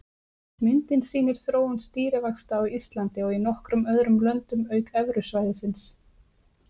Myndin sýnir þróun stýrivaxta á Íslandi og í nokkrum öðrum löndum auk Evrusvæðisins.